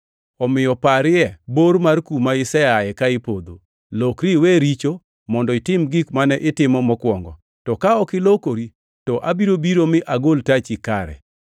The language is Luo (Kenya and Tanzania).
Omiyo parie bor mar kuma iseaye ka ipodho! Lokri iwe richo mondo itim gik mane itimo mokwongo. To ka ok ilokori to abiro biro mi agol tachi kare.